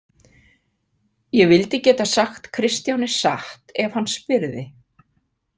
Ég vildi geta sagt Kristjáni satt ef hann spyrði.